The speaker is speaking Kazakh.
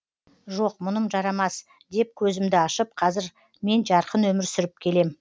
жоқ мұным жарамас деп көзімді ашып қазір мен жарқын өмір сүріп келем